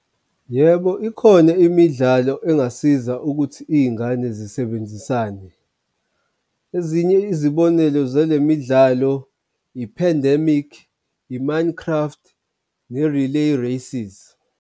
Yebo, ikhona imidlalo engasiza ukuthi iy'ngane zisebenzisane ezinye izibonelo zale midlalo i-pandemic, i-Minecraft, ne-relay races.